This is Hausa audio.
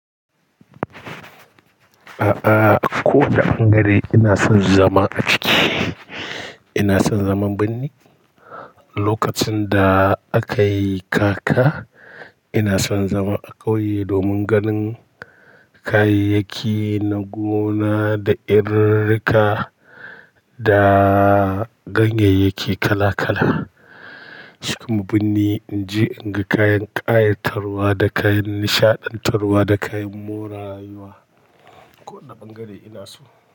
A'a, kowane bangare ina son zama a ciki. Ina son zaman binni lokacin da aka yi kaka. Ina son zama a ƙauye domin ganin kayayyaki na gona da irirrika da ganyayyaki kala-kala. Cika mun binni in je inga kayan ƙayatarwa da kayan nishaɗantarwa da kayan morarayuwa. Ko wane bangare ina so.